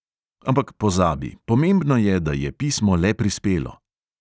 Ampak, pozabi, pomembno je, da je pismo le prispelo.